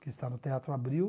que está no Teatro Abril.